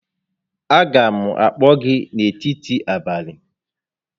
A ga m akpọ gị n'etiti abalị